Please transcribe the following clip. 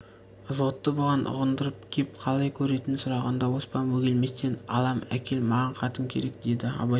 ызғұтты бұған ұғындырып кеп қалай көретінін сұрағанда оспан бөгелместен алам әкел маған қатын керек деді абай